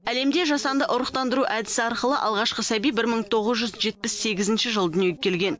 әлемде жасанды ұрықтандыру әдісі арқылы алғашқы сәби бір мың тоғыз жүз жетпіс сегізінші жылы дүниеге келген